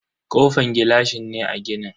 Kofan gilashi ne a ginin.